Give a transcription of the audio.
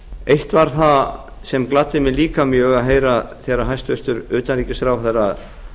eitt var það sem gladdi mig líka mjög að heyra var þegar hæstvirtur utanríkisráðherra